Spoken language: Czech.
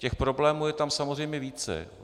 Těch problémů je tam samozřejmě více.